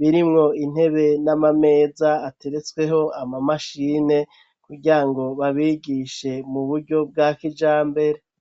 birimwo intebe n'amameza ateretsweho ama mashine kugira ngo babigishe mu buryo bwa kijambere.